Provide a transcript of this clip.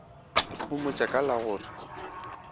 ikhomotša ka la go re